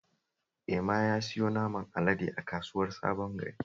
Ema ya siyo naman alade a kasuwar Sabon Gari